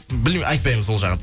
айтпаймыз ол жағын